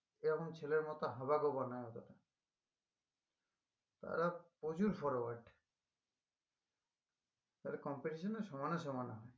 সে এমন ছেলের মত হাবাগোবা নই অতটা তারা প্রচুর forward তালে competition এ সমানে সমানে হয়